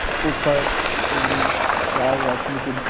ऊपर तीनचार रोशनी के--